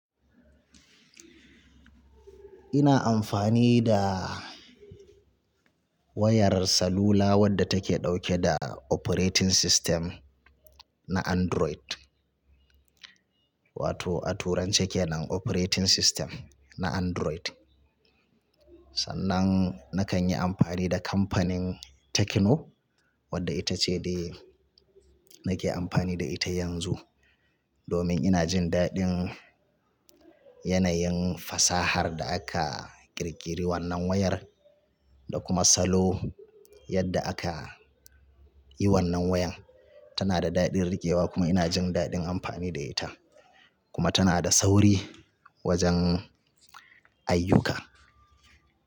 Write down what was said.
Ina amfani da wayar salula wadda take dauke da operating system na Android. Wato a turanci kenan operating system na Android. Sannan na kan yi amfani da kamfanin Tecno wadda ita ce dai nake amfani da ita yanzu. Domin ina jin daɗin yanayin fasahar da aka ƙirƙiri wannan wayar da kuma salo yadda aka yi wannan wayan. Tana da daɗin riƙewa kuma ina jin daɗin amfani da ita. Kuma tana da sauri wajen ayyuka.